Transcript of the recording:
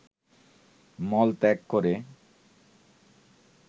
মলত্যাগ করে